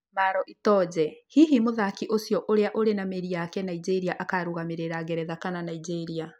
Maro itoje: hihi mũthaki ũcio ũrĩa ũrĩ na mĩri yake Nigeria akarũgamĩrĩra ngeretha kana Nigeria?